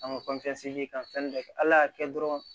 An ka kan fɛn dɔ kɛ ala y'a kɛ dɔrɔn